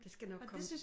Det skal nok komme